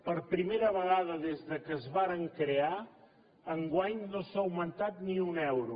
per primera vegada des que es varen crear enguany no s’ha augmentat ni un euro